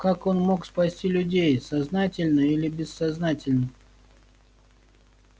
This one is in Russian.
как он мог спасти людей сознательно или бессознательно